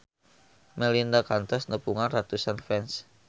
Melinda kantos nepungan ratusan fans